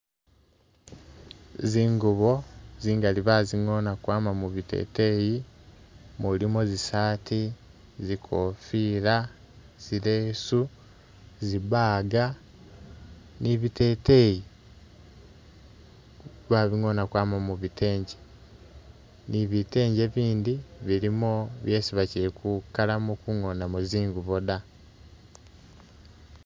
Zingubo zingali bazingoona kwama mubiteteyi, mulimo zi saati ,zikofila, zileesu ,zi bag ni biteteyi ,babingoona kwama mubitengi ni bitenje bindi bilimo byesi bakyikukalamo kungoona mo zingubo dda